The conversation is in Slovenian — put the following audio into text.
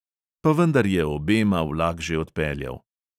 Pa vendar je obema vlak že odpeljal.